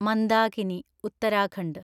Mandakini (Uttarakhand)